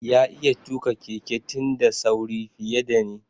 Ya iya tuka Keke din da sauri fiye da ni.